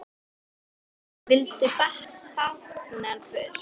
Vildu báknið burt.